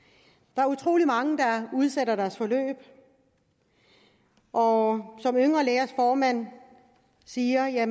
der er utrolig mange der udsætter deres forløb og som yngre lægers formand siger er